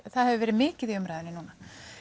það hefur verið mikið í umræðunni núna